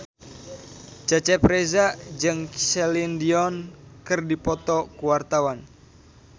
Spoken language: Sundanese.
Cecep Reza jeung Celine Dion keur dipoto ku wartawan